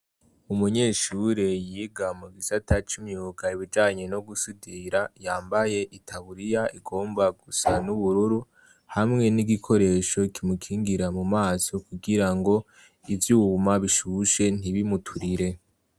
Umunyeshure yiga mu gisata cumyuka ibijanye no gusidira yambaye i taburiya igomba gusa n'ubururu hamwe n'igikoresho kimukingira mu maso kugira ngo ivyuma bishushe ntibimuturire.